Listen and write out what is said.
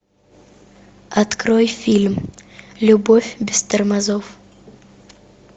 открой фильм любовь без тормозов